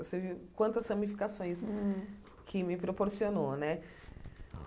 Você viu quantas ramificações Hum que me proporcionou né.